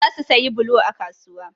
Za su sayi bulo a kasuwa.